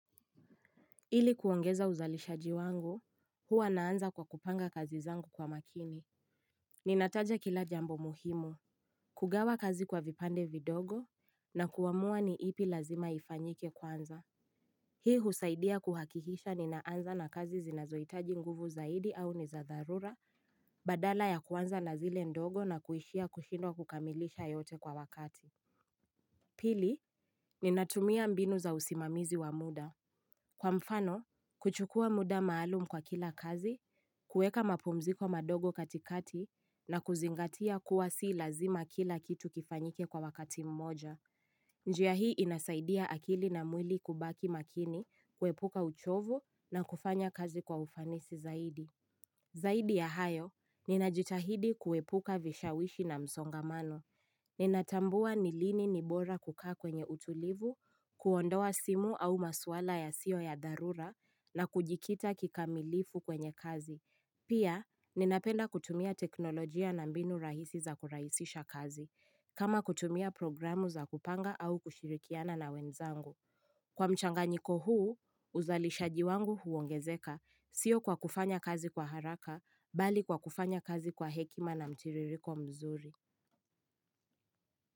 Ili kuongeza uzalishaji wangu, huwa naanza kwa kupanga kazi zangu kwa makini. Ninataja kila jambo muhimu. Kugawa kazi kwa vipande vidogo, na kuamua ni ipi lazima ifanyike kwanza. Hii husaidia kuhakikisha ninaanza na kazi zinazohitaji nguvu zaidi au ni za dharura, badala ya kuanza na zile ndogo na kuishia kushindwa kukamilisha yote kwa wakati. Pili, ninatumia mbinu za usimamizi wa muda. Kwa mfano, kuchukua muda maalum kwa kila kazi, kueka mapumziko madogo katikati na kuzingatia kuwa si lazima kila kitu kifanyike kwa wakati mmoja. Njia hii inasaidia akili na mwili kubaki makini, kuepuka uchovu na kufanya kazi kwa ufanisi zaidi. Zaidi ya hayo, ninajitahidi kuepuka vishawishi na msongamano. Ninatambua ni lini ni bora kukaa kwenye utulivu, kuondoa simu au maswala ya sio ya dharura na kujikita kikamilifu kwenye kazi. Pia, ninapenda kutumia teknolojia na mbinu rahisi za kurahisisha kazi, kama kutumia programu za kupanga au kushirikiana na wenzangu. Kwa mchanganyiko huu, uzalishaji wangu huongezeka, sio kwa kufanya kazi kwa haraka, bali kwa kufanya kazi kwa hekima na mtiririko mzuri.